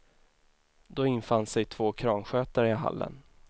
Då infann sig två kranskötare i hallen.